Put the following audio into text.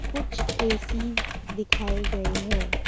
कुछ ए_सी दिखाए गए हैं।